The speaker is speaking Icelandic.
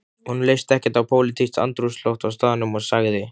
Honum leist ekkert á pólitískt andrúmsloft á staðnum og sagði